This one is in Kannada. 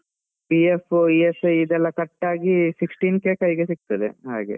PF, ESI ಇದೆಲ್ಲ cut ಆಗಿ sixteen K ಕೈಗೆ ಸಿಗ್ತದೆ, ಹಾಗೆ.